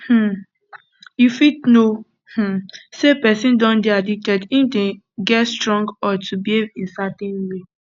um you fit know um sey person don dey addicted if dem dey get strong urge to behave in certain way